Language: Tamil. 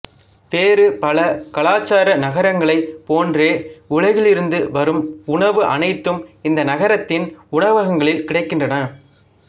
வேறு பலகலாச்சார நகரங்களைப் போன்றே உலகிலிருந்து வரும் உணவு அனைத்தும் இந்த நகரத்தின் உணவகங்களி்ல் கிடைக்கின்றன